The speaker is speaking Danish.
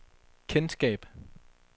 kendskab